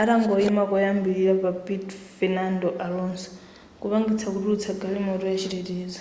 atangoyima koyambilira pa piti fenando alonso kupangitsa kutulutsa galimoto yachitetezo